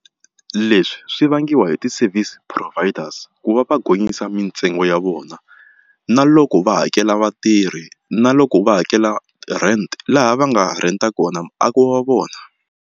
Leswi swi vangiwa hi ti-service providers ku va va gonyisa mitsengo ya vona na loko va hakela vatirhi na loko va hakela rent laha va nga ha rent-a kona muako wa vona.